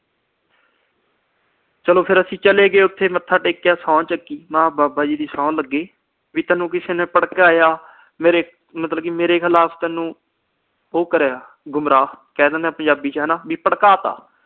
ਚਲੋ ਫਿਰ ਅਸੀਂ ਚਲੇ ਗਏ ਉਥੇ, ਮੱਥਾ ਟੇਕਿਆ, ਸਹੁੰ ਚੁੱਕੀ। ਮੈਂ ਬਾਬਾ ਜੀ ਦੀ ਸਹੁੰ ਲੱਗੇ, ਤੈਨੂੰ ਕਿਸੇ ਨੇ ਭੜਕਾਇਆ, ਮੇਰੇ ਅਹ ਮਤਲਬ ਕੀ ਮੇਰੇ ਖਿਲਾਫ ਤੈਨੂੰ ਉਹ ਕਰੀਆ ਗੁਮਰਾਹ, ਕਹਿ ਦਿੰਦੇ ਆ ਪੰਜਾਬ ਚ ਹਨਾ ਵੀ ਭੜਕਾਤਾ।